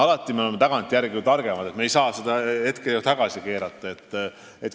Alati oleme tagantjärele targemad, aga me ei saa ju aega tagasi keerata.